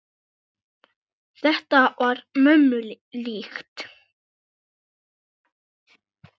Þetta var mömmu líkt.